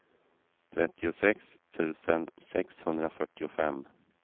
trettiosex tusen sexhundrafyrtiofem